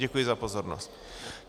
Děkuji za pozornost.